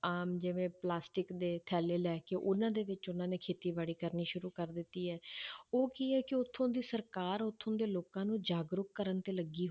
ਆਮ ਜਿਵੇਂ plastic ਦੇ ਥੈਲੇ ਲੈ ਕੇ ਉਹਨਾਂ ਦੇ ਵਿੱਚ ਉਹਨਾਂ ਨੇ ਖੇਤੀਬਾੜੀ ਕਰਨੀ ਸ਼ੁਰੂ ਕਰ ਦਿੱਤੀ ਹੈ ਉਹ ਕੀ ਹੈ ਕਿ ਉੱਥੋਂ ਦੀ ਸਰਕਾਰ ਉੱਥੋਂ ਦੇ ਲੋਕਾਂ ਨੂੰ ਜਾਗਰੂਕ ਕਰਨ ਤੇ ਲੱਗੀ